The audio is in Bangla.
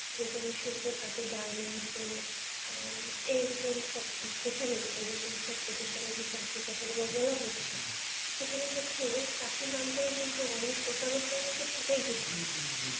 যে কোনো শিল্পক্ষেত্রে garments এ আহ এইরকম সব যেখানেই এইরকম সব প্রতিষ্ঠানে যে চাকরির কথা গুলো বলা হচ্ছে সেখানে হচ্ছে চাকুরীর নাম করে কিন্তু অনেক প্রতারকরা কিন্তু ঠকাচ্ছে